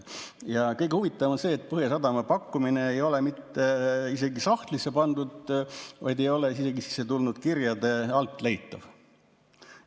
Ja kõige huvitavam on see, et Põhjasadama pakkumist ei ole mitte isegi sahtlisse pandud, vaid see ei ole isegi sissetulnud kirjade seast leitav.